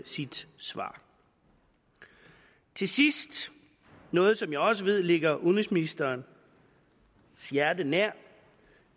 sit svar til sidst noget som jeg også ved ligger udenrigsministerens hjerte nær